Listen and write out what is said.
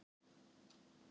Ég fór inn.